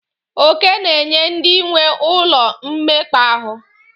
Oke na-enye ndị nwee ụlọ mmekpa ahụ.